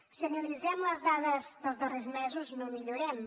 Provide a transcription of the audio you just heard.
si analitzem les dades dels darrers mesos no millorem